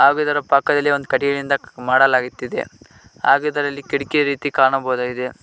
ಹಾಗು ಇದರ ಪಕ್ಕದಲ್ಲಿ ಒಂದ ಕಟ್ಟಿಗಿನಿಂದ ಮಾಡಲಾಗತ್ತಿದೆ ಹಾಗು ಇದರಲ್ಲಿ ಕಿಡಕಿ ರೀತಿ ಕಾಣಬಹುದಾಗಿದೆ.